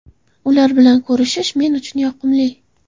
Ular bilan ko‘rishish men uchun yoqimli.